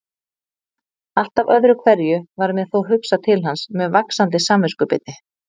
Alltaf öðru hverju varð mér þó hugsað til hans með vaxandi samviskubiti.